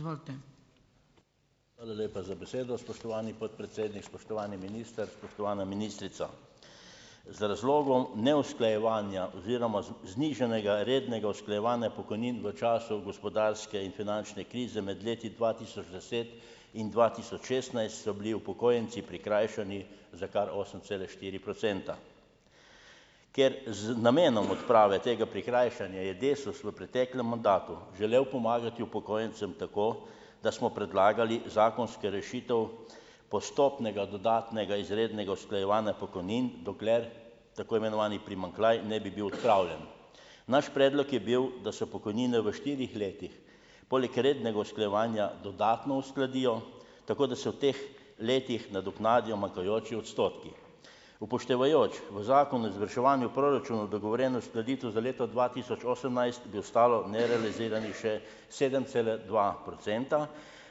Hvala lepa za besedo, spoštovani podpredsednik. Spoštovani minister, spoštovana ministrica. Z razlogom neusklajevanja oziroma znižanega rednega usklajevanja pokojnin v času gospodarske in finančne krize med leti dva tisoč deset in dva tisoč šestnajst so bili upokojenci prikrajšani za kar osem cela štiri procenta. Ker z namenom odprave tega prikrajšanja je Desus v preteklem mandatu želel pomagati upokojencem tako, da smo predlagali zakonske rešitve postopnega dodatnega izrednega usklajevanja pokojnin, dokler tako imenovani primanjkljaj ne bi bil odpravljen. Naš predlog je bil, da se pokojnine v štirih letih, poleg rednega usklajevanja, dodatno uskladijo, tako da se v teh letih nadoknadijo manjkajoči odstotki. Upoštevajoč v Zakonu o izvrševanju proračunov dogovorjeno uskladitev za leto dva tisoč osemnajst, bi ostalo nerealiziranih še sedem cela dva procenta,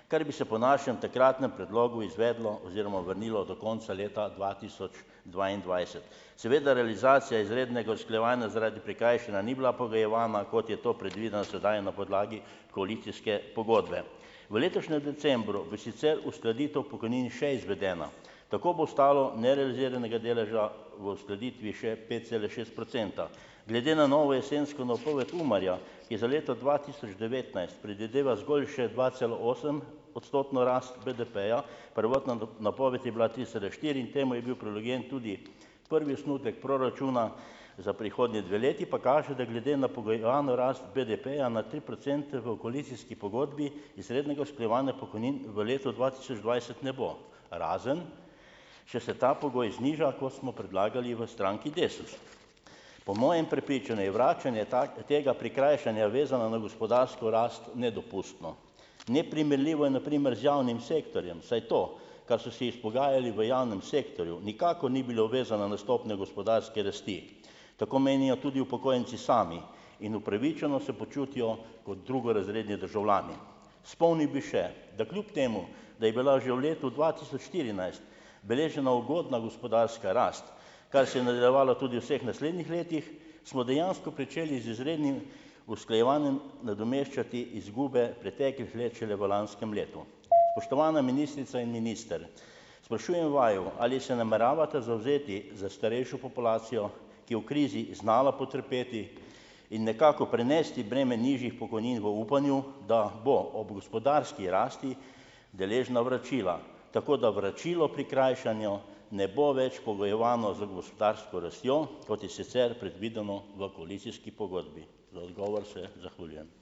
kar bi se po našem takratnem predlogu izvedlo oziroma vrnilo do konca leta dva tisoč dvaindvajset. Seveda realizacija izrednega usklajevanja zaradi prikrajšanja ni bila pogojevana, kot je to predvideno sedaj, na podlagi koalicijske pogodbe. V letošnjem decembru bo sicer uskladitev pokojnin še izvedena. Tako bo stalo nerealiziranega deleža v uskladitvi še pet cela šest procenta. Glede na novo jesensko napoved UMAR-ja, ki za leto dva tisoč devetnajst predvideva zgolj še dvacelaosem- odstotno rast BDP-ja, prvotna napoved je bila tri cela štiri in temu je bil, prvi osnutek proračuna za prihodnji dve leti pa kaže, da glede na pogojevano rast BDP-ja na tri procente v koalicijski pogodbi izrednega usklajevanja pokojnin v letu dva tisoč dvajset ne bo. Razen če se ta pogoj zniža, kot smo predlagali v stranki Desus. Po mojem prepričanju je vračanje tega prikrajšanja vezano na gospodarsko rast nedopustno. Neprimerljivo je na primer z javnim sektorjem, saj to, kar so si izpogajali v javnem sektorju, nikakor ni bilo vezano na stopnjo gospodarske rasti. Tako menijo tudi upokojenci sami in upravičeno se počutijo kot drugorazredni državljani. Spomnil bi še, da kljub temu da je bila že v letu dva tisoč štirinajst beležena ugodna gospodarska rast, kar se je nadaljevalo tudi vseh naslednjih letih, smo dejansko pričeli z izrednim usklajevanjem nadomeščati izgube preteklih let šele v lanskem letu. Spoštovana ministrica in minister, sprašujem vaju, ali se nameravata zavzeti za starejšo populacijo, ki je v krizi znala potrpeti in nekako prenesti breme nižjih pokojnin, v upanju, da bo ob gospodarski rasti deležna vračila, tako da vračilo prikrajšanja ne bo več pogojevano z gospodarsko rastjo, kot je sicer predvideno v koalicijski pogodbi. Za odgovor se zahvaljujem.